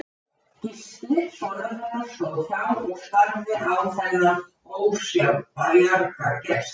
Gísli sonur hennar stóð hjá og starði á þennan ósjálfbjarga gest.